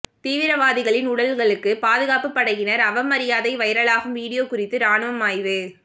தீவிரவாதிகளின் உடல்களுக்கு பாதுகாப்பு படையினர் அவமரியாதை வைரலாகும் வீடியோ குறித்து ராணுவம் ஆய்வு